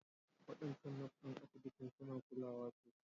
Waɗancan Nurse ɗin asibitin suna kulawa sosai